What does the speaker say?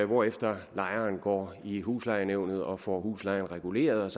hvorefter lejeren går i huslejenævnet og får huslejen reguleret og